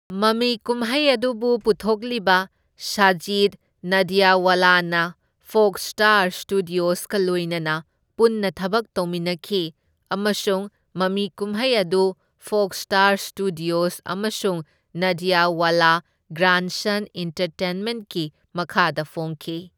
ꯃꯃꯤ ꯀꯨꯝꯍꯩ ꯑꯗꯨꯕꯨ ꯄꯨꯊꯣꯛꯂꯤꯕ, ꯁꯥꯖꯤꯗ ꯅꯥꯗꯤꯌꯥꯗꯋꯥꯂꯥꯅ ꯐꯣꯛꯁ ꯁ꯭ꯇꯥꯔ ꯁ꯭ꯇꯨꯗꯤꯑꯣꯁꯀ ꯂꯣꯏꯅꯅ ꯄꯨꯟꯅ ꯊꯕꯛ ꯇꯧꯃꯤꯟꯅꯈꯤ ꯑꯃꯁꯨꯡ ꯃꯃꯤ ꯀꯨꯝꯍꯩ ꯑꯗꯨ ꯐꯣꯛꯁ ꯁ꯭ꯇꯥꯔ ꯁ꯭ꯇꯨꯗꯤꯑꯣꯁ ꯑꯃꯁꯨꯡ ꯅꯥꯗꯤꯌꯥꯗꯋꯥꯂꯥ ꯒ꯭ꯔꯥꯟꯁꯟ ꯑꯦꯟꯇꯔꯇꯦꯟꯃꯦꯟꯠꯀꯤ ꯃꯈꯥꯗ ꯐꯣꯡꯈꯤ꯫